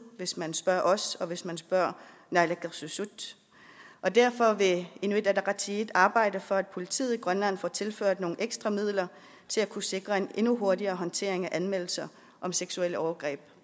hvis man spørger os og hvis man spørger naalakkersuisut og derfor vil inuit ataqatigiit arbejde for at politiet i grønland får tilført nogle ekstra midler til at kunne sikre en endnu hurtigere håndtering af anmeldelser om seksuelle overgreb